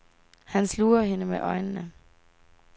Han sluger hende med øjnene.